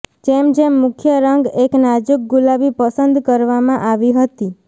જેમ જેમ મુખ્ય રંગ એક નાજુક ગુલાબી પસંદ કરવામાં આવી હતી